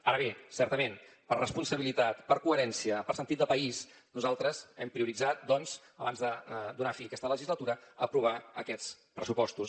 ara bé certament per responsabilitat per coherència per sentit de país nosaltres hem prioritzat doncs abans de donar fi a aquesta legislatura aprovar aquests pressupostos